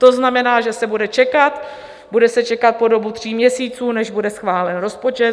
To znamená, že se bude čekat, bude se čekat po dobu tří měsíců, než bude schválen rozpočet.